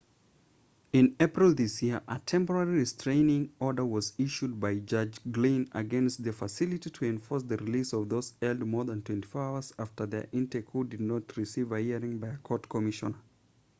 in april this year a temporary restaining order was issued by judge glynn against the facility to enforce the release of those held more than 24 hours after their intake who did not receive a hearing by a court commissioner